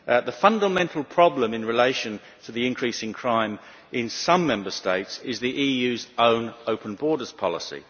The fundamental problem in relation to the increasing crime in some Member States is the EU's own open borders policy.